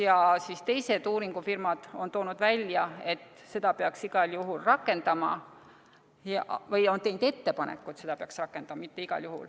Praxis ja teised uuringufirmad on teinud ettepaneku, et seda peaks rakendama.